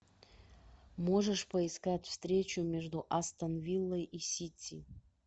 можешь поискать встречу между астон виллой и сити